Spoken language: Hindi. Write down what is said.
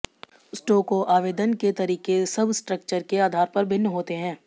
स्टुको आवेदन के तरीके सबस्ट्रक्चर के आधार पर भिन्न होते हैं